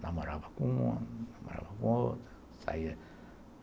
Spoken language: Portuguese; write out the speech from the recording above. Namorava com uma, namorava com outra. Saía